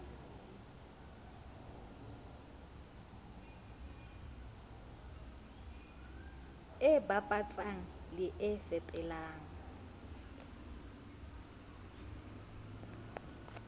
e bapatsang le e fepelang